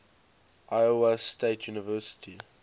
iowa state university